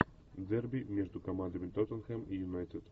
дерби между командами тоттенхэм и юнайтед